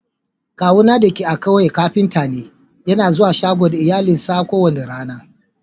Kawuna dake a'ƙauye kafinta ne. Yana zuwa shago da iyalinsa ko wani rana.